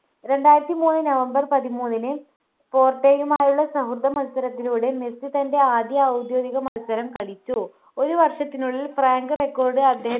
രണ്ടായിരത്തിമൂന്ന് november പതിമൂന്നിന് പോർട്ടോയുമായുള്ള സൗഹൃദ മത്സരത്തിലൂടെ മെസ്സി തൻ്റെ ആദ്യ ഔദ്യോഗിക മത്സരം കളിച്ചു ഒരു വർഷത്തിനുള്ളിൽ rank record